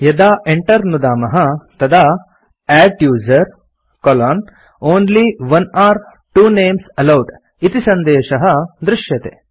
यदा enter नुदामः तदा adduser only one or two names allowed इति सन्देशः दृश्यते